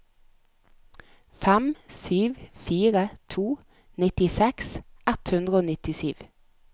fem sju fire to nittiseks ett hundre og nittisju